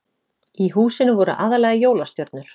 Í húsinu voru aðallega jólastjörnur